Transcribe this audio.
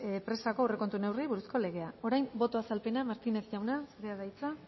presako aurrekontu neurri buruzko legea orain boto azalpena martínez jauna zurea da hitza